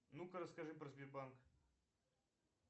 ну ка расскажи про сбербанк